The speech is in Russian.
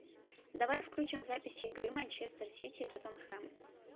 давай включим запись игры манчестер сити и тоттенхэм